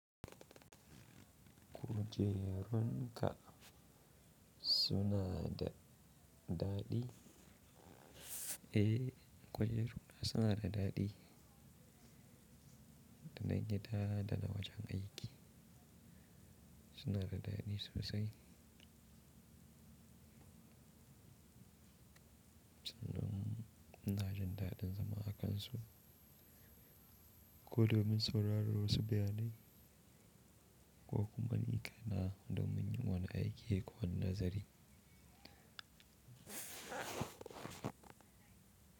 Kujerunka suna da daɗi? Eh, kujerunka suna da daɗi, dana gida da na wajan aiki. Suna da daɗi sosai. Sanin ina jin daɗin zama a kansu, ko domin sauraro su bayanai ko kuma niƙa na domin yin wani aiki ko wani nazari.